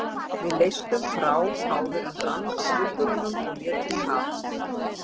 Við leystum frá áður en rann af duggurunum og létum í haf.